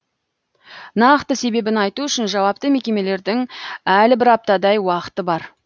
нақты себебін айту үшін жауапты мекемелердің әлі бір аптадай уақыты бар